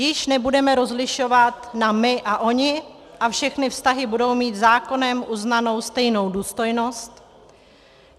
Již nebudeme rozlišovat na my a oni a všechny vztahy budou mít zákonem uznanou stejnou důstojnost.